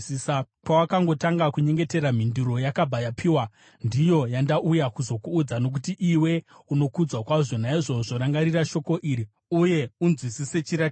Pawakangotanga kunyengetera, mhinduro yakabva yapiwa, ndiyo yandauya kuzokuudza, nokuti iwe unokudzwa kwazvo. Naizvozvo rangarira shoko iri uye unzwisise chiratidzo: